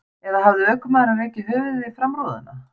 Eða hafði ökumaðurinn rekið höfuðið í framrúðuna?